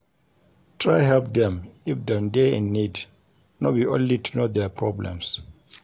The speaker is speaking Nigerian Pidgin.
Try help dem if them de in need no be only to know their problems